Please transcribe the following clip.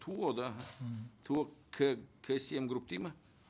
тоо да тоо к семь групп дейді ме